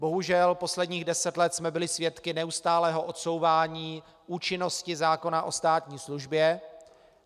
Bohužel posledních deset let jsme byli svědky neustálého odsouvání účinnosti zákona o státní službě.